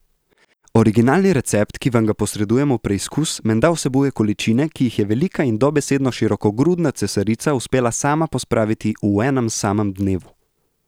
Originalni recept, ki vam ga posredujemo v preizkus, menda vsebuje količine, ki jih je velika in dobesedno širokogrudna cesarica uspela sama pospraviti v enem samem dnevu!